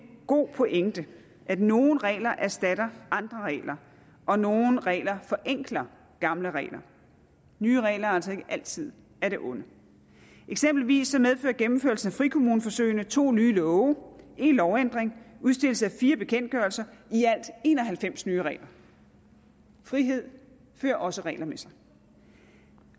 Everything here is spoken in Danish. god pointe at nogle regler erstatter andre regler og nogle regler forenkler gamle regler nye regler er altså ikke altid af det onde eksempelvis medfører gennemførelsen af frikommuneforsøgene to nye love en lovændring udstedelse af fire bekendtgørelser i alt en og halvfems nye regler frihed fører også regler med sig